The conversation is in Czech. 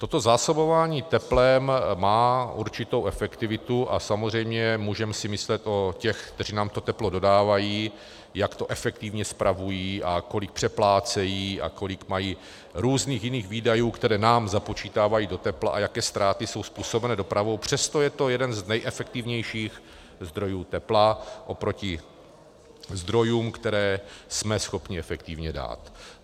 Toto zásobování teplem má určitou efektivitu, a samozřejmě můžeme si myslet o těch, kteří nám to teplo dodávají, jak to efektivně spravují a kolik přeplácejí a kolik mají různých jiných výdajů, které nám započítávají do tepla, a jaké ztráty jsou způsobeny dopravou, přesto je to jeden z nejefektivnějších zdrojů tepla oproti zdrojům, které jsme schopni efektivně dát.